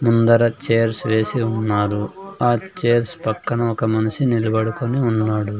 ముందర చైర్స్ వేసి ఉన్నారు ఆ చైర్స్ పక్కన ఒక మనిషి నిలబడుకొని ఉన్నాడు.